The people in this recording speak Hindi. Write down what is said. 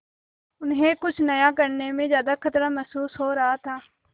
उन्हें कुछ नया करने में ज्यादा खतरा महसूस हो रहा था